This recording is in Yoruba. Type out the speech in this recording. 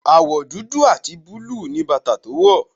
Àwọ̀ dúdú àti búlúù ni bàtà tó wọ̀.